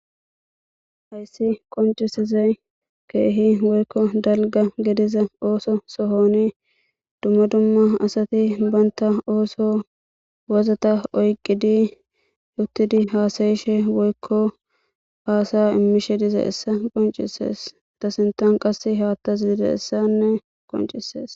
Hayssi qoncisizey keehi woykko dalga gediza ooso sohoni dumma dumma asati banta ooso wozata oyqqidi yuttidi haasayishe woykko haasaya immishe diza essa qoncisees ta sintan qas haattas dide essanne qoncisees.